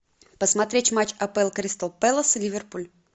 посмотреть матч апл кристал пэлас и ливерпуль